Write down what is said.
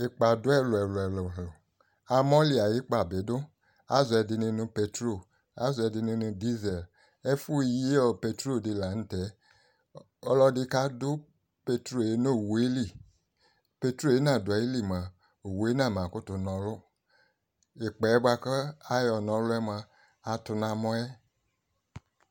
Ɩkpa dʋ ɛlʋ ɛlʋ ɛlʋ Amɔli ay'ɩkpa bɩ dʋ Àzɔ ɛdɩni nʋ petrole, àzɔ ɛdɩnɩ nʋ disel Ɛfʋ yi petrole dɩ la n'tɛ Ɔlɔdɩ kadʋ petrɔl yɛ nʋ owu yɛ li Petrole yɛ nadʋ ayili mʋa owu yɛ nam kʋtʋ nɔlʋ Ɩkpa yɛ bʋa kʋ ayɔ n'ɔlʋ yɛ mʋa atʋ n'amɔ yɛ